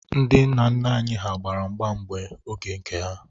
Ndị nna nna anyị hà gbara mgba n'oge nke ha.